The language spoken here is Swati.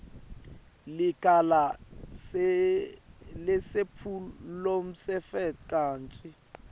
licala lesephulomtsetfo kantsi